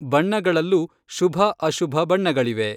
ಬಣ್ಣಗಳಲ್ಲೂ ಶುಭ-ಅಶುಭ ಬಣ್ಣಗಳಿವೆ.